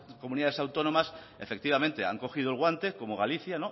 comunidades autónomas efectivamente han cogido el guante como galicia